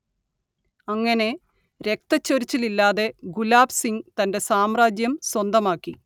അങ്ങനെ രക്തച്ചൊരിച്ചിലില്ലാതെ ഗുലാബ് സിങ് തന്റെ സാമ്രാജ്യം സ്വന്തമാക്കി